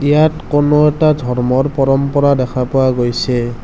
ইয়াত কোনো এটা ধৰ্মৰ পৰম্পৰা দেখা পোৱা গৈছে।